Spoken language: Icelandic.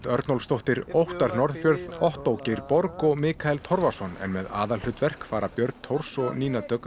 Örnólfsdóttir Óttar Norðfjörð Ottó Geir borg og Mikael Torfason en með aðalhlutverk fara þau Björn Thors og Nína Dögg